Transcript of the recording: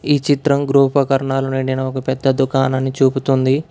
ఈ చిత్రం గృహోపకరణాలు నిండిన ఒక పెద్ద దుకాణాన్ని చూపుతుంది.